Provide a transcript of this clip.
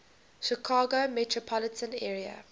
chicago metropolitan area